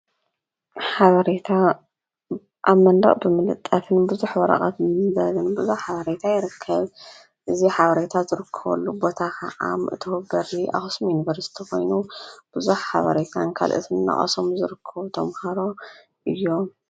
ሓበሬታ ኣብ መንደቕ ብምልጠፍን ብዙሕ ወረቐት ንምንባብን ብዙሕ ሓበሬታ የርከብ፡፡ እዚ ሓበሬታ ዝርከበሉ ቦታ ኸዓ መእተዊ በሪ ኣክሱም ዩንበርስቲ ኾይኑ ብዙሕ ሓባሬታን ካልኦትን እናቐሰሙ ዝርክቡ ተምሃሮ እዮም፡፡